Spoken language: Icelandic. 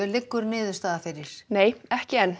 liggur niðurstaðan fyrir nei ekki enn